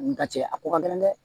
N ka cɛ a ko ka gɛlɛn dɛ